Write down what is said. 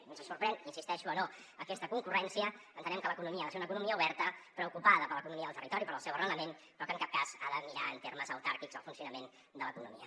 ens sorprèn hi insisteixo o no aquesta concurrència entenem que l’economia ha de ser una economia oberta preocupada per l’economia del territori pel seu arrelament però que en cap cas ha de mirar en termes autàrquics el funcionament de l’economia